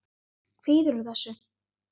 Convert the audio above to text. Kvíðirðu þessu?